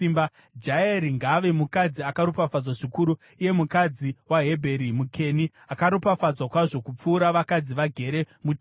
“Jaeri ngaave mukadzi akaropafadzwa zvikuru, iye mukadzi waHebheri muKeni, akaropafadzwa kwazvo kupfuura vakadzi vagere mutende.